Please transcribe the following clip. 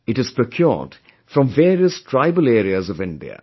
It is procured from various tribal areas of India